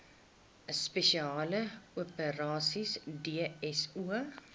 spesiale operasies dso